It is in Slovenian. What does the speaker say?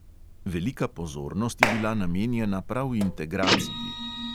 Velika pozornost je bila namenjena prav integraciji.